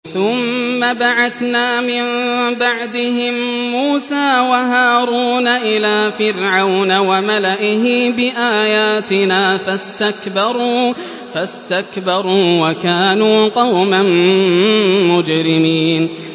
ثُمَّ بَعَثْنَا مِن بَعْدِهِم مُّوسَىٰ وَهَارُونَ إِلَىٰ فِرْعَوْنَ وَمَلَئِهِ بِآيَاتِنَا فَاسْتَكْبَرُوا وَكَانُوا قَوْمًا مُّجْرِمِينَ